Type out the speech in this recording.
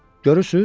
Görürsüz?